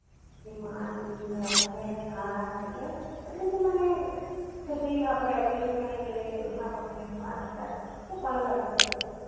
সেই মাছ বিভিন্ন রকমের ভাত ওটা তো মানে খেতেই হবে আর কী ওখানে গেলে সামুদ্রিক মাছ টাছ। খুব ভালো লাগতো খেতে।